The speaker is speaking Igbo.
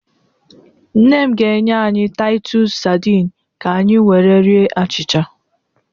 Nne m ga-enye anyị Taịtus sadịn kanyị were rie achịcha.